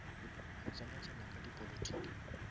go tsena tsena ga dipolotiki